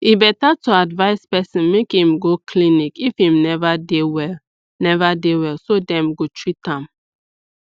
e better to advise person make im go clinic if im neva dey well neva dey well so dem go treat am